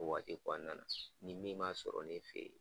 O waati kɔnɔna na nin min ma sɔrɔ ne fe ye